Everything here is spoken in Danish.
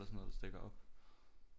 Eller sådan noget der stikker op